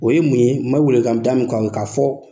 O ye mun ye n mɛ wele welekan da mun k'aw ye, ka fɔ